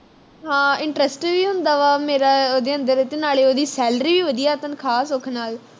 ਹਾ interest ਵੀ ਹੁੰਦਾ ਵਾ ਮੇਰਾ ਓਹਦੇ ਅੰਦਰ ਤੇ ਨਾਲੇ ਉਹਦੀ salary ਵੀ ਵਧੀਆ ਤਨਖਾਹ ਸੁੱਖ ਨਾਲ